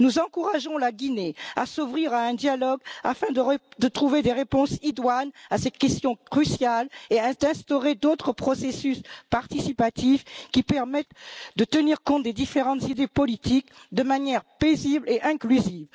Nous encourageons la Guinée à s'ouvrir à un dialogue afin de trouver des réponses idoines à cette question cruciale et à instaurer d'autres processus participatifs qui permettent de tenir compte des différentes idées politiques de manière paisible et inclusive.